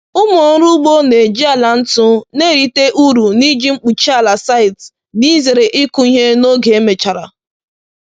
Ụmụ ọrụ ugbo na-eji ala ntu na-erite uru n’iji mkpuchi ala site n’ịzere ịkụ ihe n’oge emechara.”